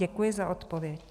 Děkuji za odpověď.